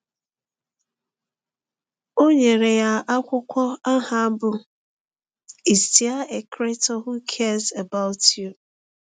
O nyere ya akwụkwọ aha bụ́ Is There a Creator Who Cares About You?